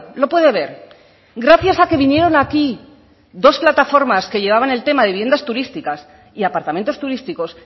lo puede ver gracias a que vinieron aquí dos plataformas que llevaban el tema de vivienda turísticas y apartamentos turísticos